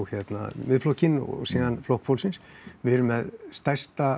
Miðflokkinn og síðan Flokk fólksins við erum með stærsta